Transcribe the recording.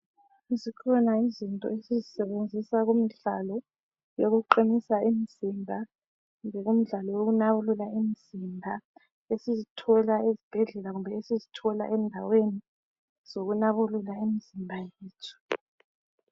Zikhona izinto esizisebenzisa kumdlalo yokuqinisa imzimba kumbe kumdlalo yokunabulula imzimba esizithola ezibhedlela kumbe esizithola endaweni zokunabulula imzimba yethu.